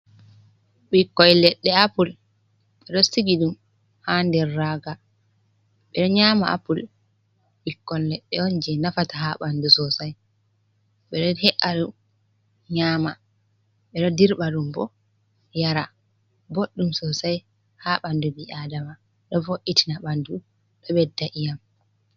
Bikkoi leɗɗe apul be ɗo sitigi dum ha ɗer raga. beɗo nyama apul. ɓikkon leɗɗe on je nafata ha banɗu sosai. Beɗo he"eya ɗum nyama. Beɗo ɗirba ɗum bo yara. boɗɗum sosai ha banɗu bi aɗama. Ɗo voitina banɗu ɗo beɗɗa iyam.